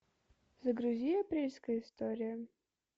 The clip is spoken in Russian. загрузи апрельская история